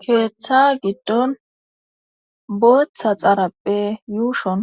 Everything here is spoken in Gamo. keeththa giddon booththa xaraphe yuushon